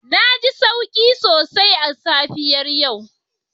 Na ji sauki sosai a safiyar yau